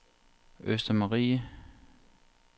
Østermarie